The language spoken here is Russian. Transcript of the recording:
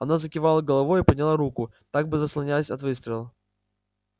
она закивала головою и подняла руку как бы заслоняясь от выстрела